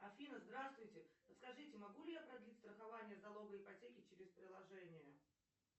афина здравствуйте подскажите могу ли я продлить страхование залога ипотеки через приложение